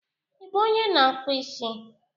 Ị bụ onye na-akpụ isi?